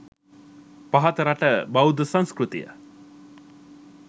පහත රට බෙෳද්ධ සංස්කෘතිය